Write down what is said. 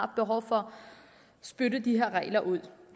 behov for at spytte de her regler ud